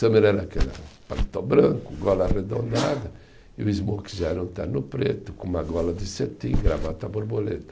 Summer era aquele paletó branco, gola arredondada, e o Smoking já era um terno preto, com uma gola de cetim, gravata borboleta.